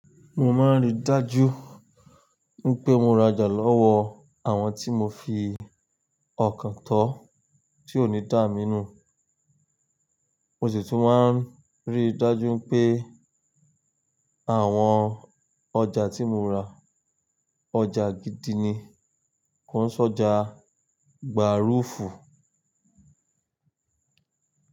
Mo máa ń rí dájú pé mo ra ọjà lọ́wọ́ àwọn tí mo fi ọkàn tó tí ó ní dàá mí nù. Mo sì tún máa ń rí dájú pé àwọn ọjà tí mo ra, ọjà gidi ni. Kò ń sọjà gbàrúfù.